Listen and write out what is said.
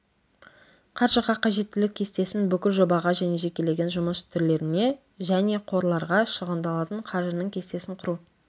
қаржыға қажеттілік кестесін бүкіл жобаға және жекелеген жұмыс түрлеріне және қорларға шығындалатын қаржының кестесін құру